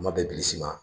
Kuma bɛɛ bilisi ma